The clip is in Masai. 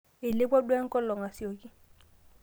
eileoua duo enkolong aisioki